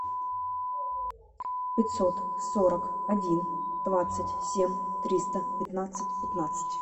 пятьсот сорок один двадцать семь триста пятнадцать пятнадцать